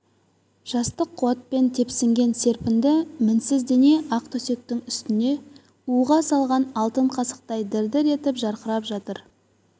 жастық қуатпен тепсінген серпінді мінсіз дене ақ төсектің үстінде уызға салған алтын қасықтай дір-дір етіп жарқырап жатыр